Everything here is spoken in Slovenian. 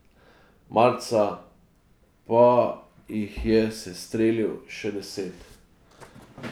Marca pa jih je sestrelil še deset.